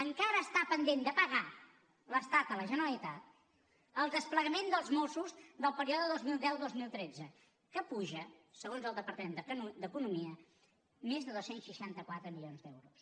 encara està pendent de pagar l’estat a la generalitat el desplegament dels mossos del període dos mil deudos mil tretze que puja segons el departament d’economia més de dos cents i seixanta quatre milions d’euros